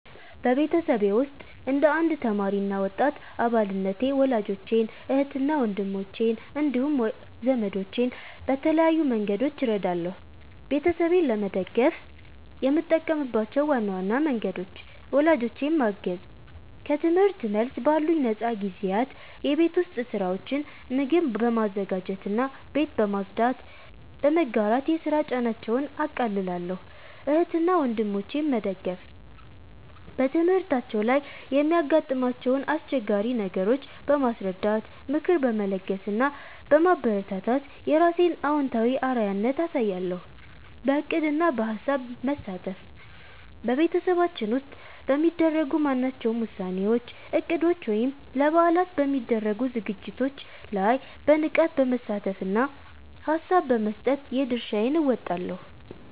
በቤተሰቤ ውስጥ እንደ አንድ ተማሪ እና ወጣት አባልነቴ ወላጆቼን፣ እህትና ወንድሞቼን እንዲሁም ዘመዶቼን በተለያዩ መንገዶች እረዳለሁ። ቤተሰቤን ለመደገፍ የምጠቀምባቸው ዋና ዋና መንገዶች፦ ወላጆቼን ማገዝ፦ ከትምህርት መልስ ባሉኝ ነፃ ጊዜያት የቤት ውስጥ ሥራዎችን (ምግብ በማዘጋጀትና ቤት በማጽዳት) በመጋራት የሥራ ጫናቸውን አቃልላለሁ። እህትና ወንድሞቼን መደገፍ፦ በትምህርታቸው ላይ የሚያጋጥሟቸውን አስቸጋሪ ነገሮች በማስረዳት፣ ምክር በመለገስ እና በማበረታታት የራሴን አዎንታዊ አርአያነት አሳይሻለሁ። በዕቅድና በሐሳብ መሳተፍ፦ በቤተሰባችን ውስጥ በሚደረጉ ማናቸውም ውሳኔዎች፣ እቅዶች ወይም ለበዓላት በሚደረጉ ዝግጅቶች ላይ በንቃት በመሳተፍና ሐሳብ በመስጠት የድርሻዬን እወጣለሁ።